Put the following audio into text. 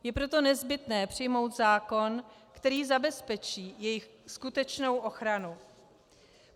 Je proto nezbytné přijmout zákon, který zabezpečí jejich skutečnou ochranu.